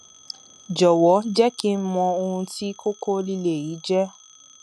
jọwọ jẹ kí n mọ ohun tí kókó líle yìí jẹ